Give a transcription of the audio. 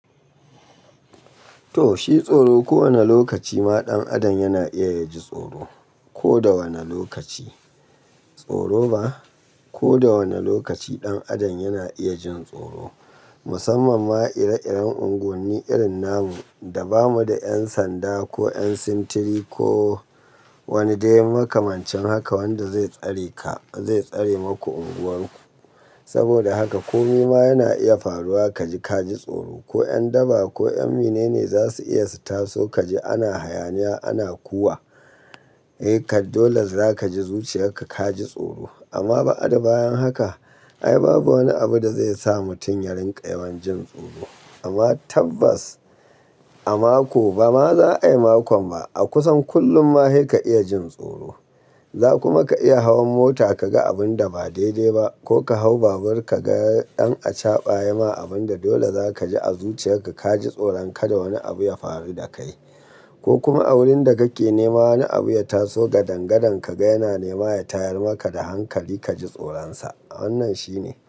To, shi tsoro kowane lokaci ma ɗan adam yana iya ya ji tsoro. Ko da wane lokaci tsoro ba? Ko da wane lokaci ɗan adam yana iya jin tsoro. Musamman ma ire-iren unguwanni irin namu da bamu da 'yan sanda ko 'yan sintiri ko wani dai makamancin haka wanda zai tsare ka, zai tsare maku unguwar ku. Saboda haka kome ma yana iya faruwa ka ji, ka ji tsoro. Ko 'yan daba ko 'yan mene ne za su iya su taso ka ji ana hayaniya, ana kuwa. Eh, kadole za ka ji zuciyarka ka ji tsoro. Amma ba'ada bayan haka ai babu wani abu da zai sa mutum ya rinƙa yawan jin tsoro. Amma tabbas a mako ba ma za a yi makon ba, a kusan kullum ma sai ka iya jin tsoro. Za kuma ka iya hawan mota ka ga abun da ba daidai ba ko ka hau babur ka ga ɗan acaɓa ya ma abin da dole za ka ji a zuciyarka ka ji tsoro, kada wani abu ya faru da kai. Ko kuma a wurin da kake nema wani abu ya taso gadangadan ka ga yana nema ya tayar maka da hankali ka ji tsoronsa. Wannan shine.